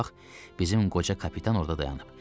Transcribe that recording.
Odur bax, bizim qoca kapitan orda dayanıb.